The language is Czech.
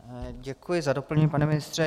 Děkuji za doplnění, pane ministře.